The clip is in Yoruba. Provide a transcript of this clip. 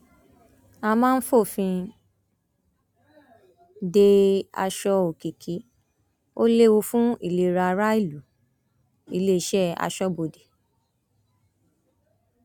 a máa fòfin de aṣọ òkìkí ó léwu fún ìlera aráàlúiléeṣẹ aṣọbodè